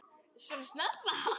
Svona snemma?